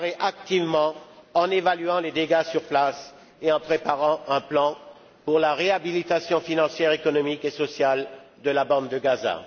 activement en évaluant les dégâts sur place et en préparant un plan pour la réhabilitation financière, économique et sociale de la bande de Gaza.